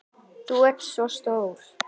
Þú ert svo stór.